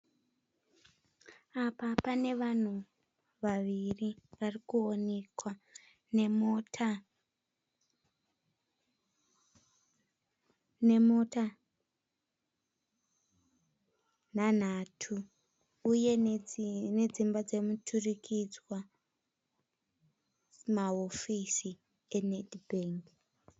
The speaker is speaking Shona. Apa pane vanhu vaviri vari kuoneka, nemota nhanhatu uye nedzimba dzemuturikidzwa, mahofisi eNedbank.